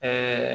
Aa